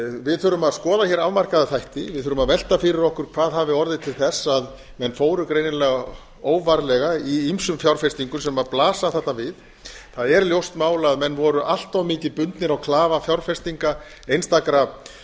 við þurfum að skoða hér afmarkaða þætti við þurfum að velta fyrir okkur hvað hafi orðið til þess að menn fóru greinilega óvarlega í ýmsum fjárfestingum sem blasa þarna við það er ljóst mál að menn voru allt of mikið bundnir á klafa fjárfestinga einstakra